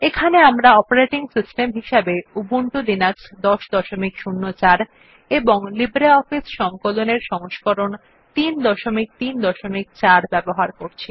এখানে আমরা operating system হিসেবে উবুন্টু লিনাক্স ১০০৪ এবং লিব্রিঅফিস সংকলন এর সংস্করণ ৩৩৪ ব্যবহার করছি